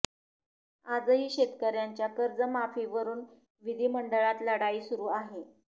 आज ही शेतकऱयांच्या कर्जमाफीवरून विधी मंडळात लढाई सुरू आहे